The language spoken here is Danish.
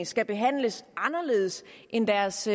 skal behandles anderledes end deres